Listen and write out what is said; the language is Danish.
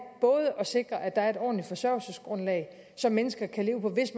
at sikre at der er et ordentligt forsørgelsesgrundlag som mennesker kan leve på hvis